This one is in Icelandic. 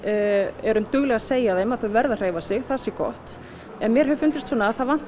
erum dugleg að segja þeim að þau verði að hreyfa sig það sé gott en mér hefur fundist svona að það vanti